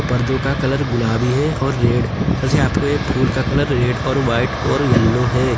पर्दों का कलर गुलाबी है और रेड तथा यहां पे फूल का कलर रेड और वाइट और येलो है।